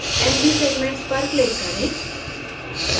nb segments पर click करें